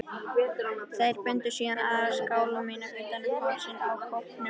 Þeir bundu síðan aðra skálmina utan um hálsinn á kópnum.